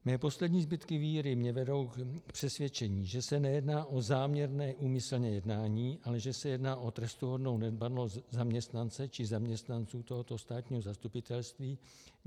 Mé poslední zbytky víry mě vedou k přesvědčení, že se nejedná o záměrné úmyslné jednání, ale že se jedná o trestuhodnou nedbalost zaměstnance či zaměstnanců tohoto státního zastupitelství.